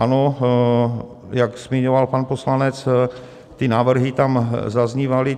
Ano, jak zmiňoval pan poslanec, ty návrhy tam zaznívaly.